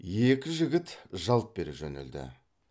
екі жігіт жалт бере жөнелді